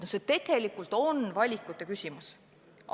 See tegelikult on valikute küsimus.